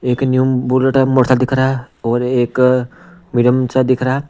एक new bullet motorcycle दिख रहा है और एक मीडियम सा दिख रहा है।